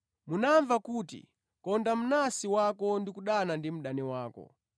“Munamva kuti, ‘Konda mnansi wako ndi kudana ndi mdani wako.’